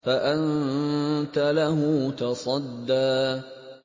فَأَنتَ لَهُ تَصَدَّىٰ